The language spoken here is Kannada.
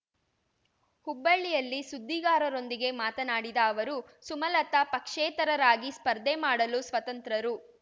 ಹುಬ್ಬಳ್ಳಿಯಲ್ಲಿ ಸುದ್ದಿಗಾರರೊಂದಿಗೆ ಮಾತನಾಡಿದ ಅವರು ಸುಮಲತ ಪಕ್ಷೇತರರಾಗಿ ಸ್ಪರ್ಧೆ ಮಾಡಲು ಸ್ವತಂತ್ರರು